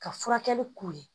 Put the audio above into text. Ka furakɛli k'u ye